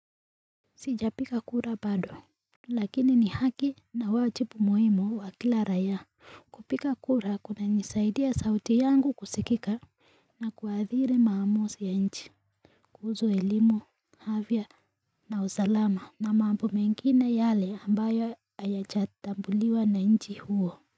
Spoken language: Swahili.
Sijapiga kura bado Lakini ni haki na wajibu muhimu wa kila raia. Kupiga kura kunanisaidia sauti yangu kusikika na kuadhiri maamuzi ya nchi kuhusu elimu, afya na usalama. Na mambo mengine yale ambayo hayajatambuliwa na nchi huo.